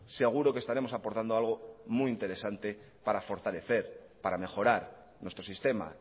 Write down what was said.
seguro que estaremos aportando algo muy interesante para fortalecer para mejorar nuestro sistema